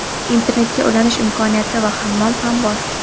internetga ulanish imkoniyati va hammom ham bor.